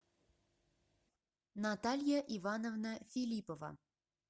наталья ивановна филиппова